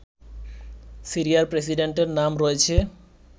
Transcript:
সিরিয়ার প্রেসিডেন্টের নাম রয়েছে